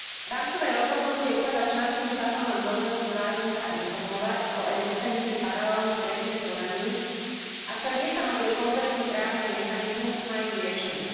Rámcové rozhodnutie ukladá členským štátom len povinnosť vzájomne sa informovať o existencii paralelných trestných konaní, avšak nestanovuje komplexný právny mechanizmus na ich riešenie.